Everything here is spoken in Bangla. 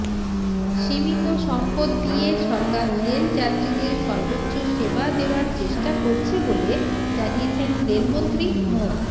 সীমিত সম্পদ দিয়ে সরকার রেল যাত্রীদের সর্বোচ্চ সেবা দেওয়ার চেষ্টা করছে বলে জানিয়েছেন রেলমন্ত্রী মো